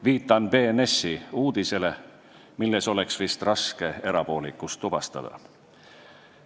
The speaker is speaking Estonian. Viitan BNS-i uudisele, milles oleks vist raske erapoolikust tuvastada.